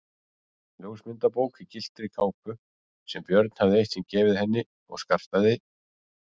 Ljósmyndabók í gylltri kápu sem Björg hafði eitt sinn gefið henni og skartaði